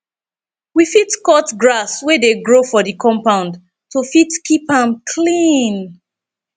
we fit cut grass wey dey grow for di compound to fit keep am clean